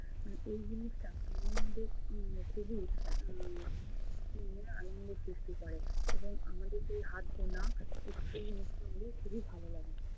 উম এই জিনিসটা আমাদের মধ্যে উম খুবই উম মনে আনন্দ সৃষ্টি করে এবং আমাদেরকে এই হাত গোনা নিঃসন্দেহে খুবই ভালো লাগে